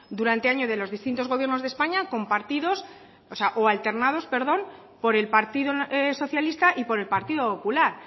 durante años de los distintos gobiernos de españa compartidos o alternados por el partido socialista y por el partido popular